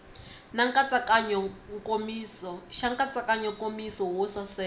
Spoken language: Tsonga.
xa nkatsakanyo nkomiso wo saseka